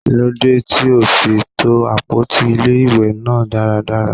Kí ló dé tí ò ò fi to àpótí ilé-ìwé náà dáradára?